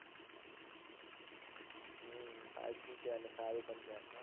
હમ fiveG છે અને સારૂ પણ છે.